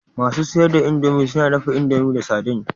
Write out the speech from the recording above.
Masu siyar da indomie suna dafa indomie da sardine